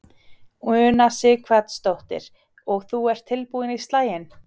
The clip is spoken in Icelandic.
Una Sighvatsdóttir: Og þú ert tilbúinn í slaginn?